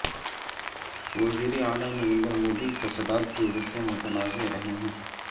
وزیراعلی نریندر مودی فسادات کی وجہ سے متنازع رہے ہیں